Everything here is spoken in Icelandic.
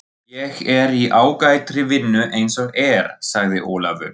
Ég er í ágætri vinnu eins og er, sagði Ólafur.